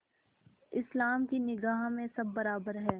इस्लाम की निगाह में सब बराबर हैं